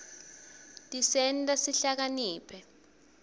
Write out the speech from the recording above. tisenta sihlakaniphe